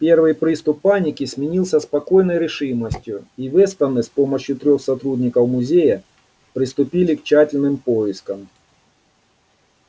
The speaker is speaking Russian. первый приступ паники сменился спокойной решимостью и вестоны с помощью трёх сотрудников музея приступили к тщательным поискам